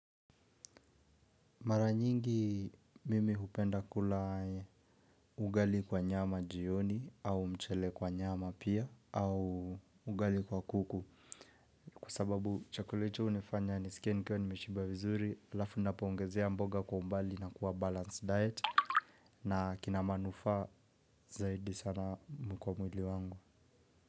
Mara nyingi mimi hupenda kula ugali kwa nyama jioni au mchele kwa nyama pia au ugali kwa kuku. Kwa sababu chakula hicho unifanya niskie nikiwa nimeshiba vizuri alafu napo ongezea mboga kwa umbali na kuwa balance diet. Na kina manufa zaidi sana kwa mwili wangu.